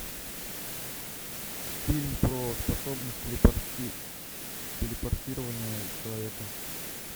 фильм про способность телепорти телепортирование человека